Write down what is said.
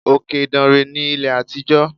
Òkè Ìdànrè ní ilé àtijọ́.